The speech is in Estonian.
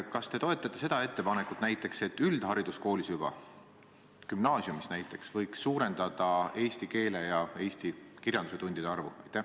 Kas te toetate ettepanekut, et üldhariduskoolis, näiteks gümnaasiumis võiks suurendada eesti keele ja eesti kirjanduse tundide arvu?